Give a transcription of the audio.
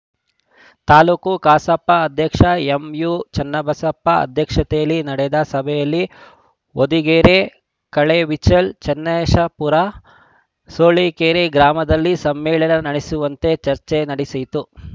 ತಾಲೂಕು ಕಸಾಪ ಅಧ್ಯಕ್ಷ ಎಂಯುಚನ್ನಬಸಪ್ಪ ಅಧ್ಯಕ್ಷತೆಯಲ್ಲಿ ನಡೆದ ಸಭೆಯಲ್ಲಿ ಹೊದಿಗೆರೆ ಕೆಳೆಬಿಚಲ್ ಚನ್ನೇಶಪುರ ಸೂಳಿಕೆರೆ ಗ್ರಾಮಗಳಲ್ಲಿ ಸಮ್ಮೇಳನ ನಡೆಸುವಂತೆ ಚರ್ಚೆ ನಡೆಯಿತು